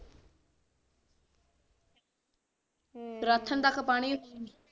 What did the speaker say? ਰਾਸਨ ਤੱਕ ਪਾਣੀ